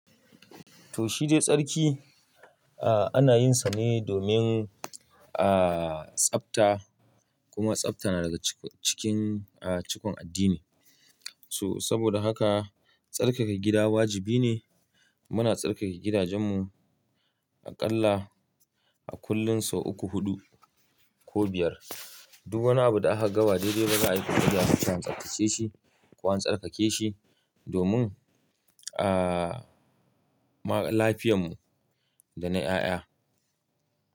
To shi dai tsarki, a ana yin sa ne domin a tsafta kuma tsafta na daga cikin a cikin addini. So saboda haka tsarkake gida wajibi ne. Muna tsarkake gidajen mu aƙalla a kullum sau uku, huɗu ko biyar. Duk wani abu da aka gama daidai ba za a yi tafiya ba kan tsattace shi ko an tsarkake shi domin a lafiyan mu da na ƴaƴa.